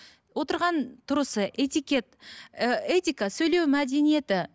отырған тұрысы этикет ы этика сөйлеу мәдениеті